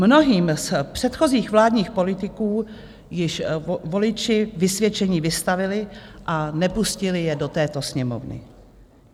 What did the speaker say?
Mnohým z předchozích vládních politiků již voliči vysvědčení vystavili a nepustili je do této Sněmovny.